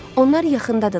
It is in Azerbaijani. Onlar yaxındadırlar.